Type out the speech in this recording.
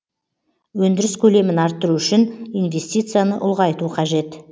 өндіріс көлемін арттыру үшін инвестицияны ұлғайту қажет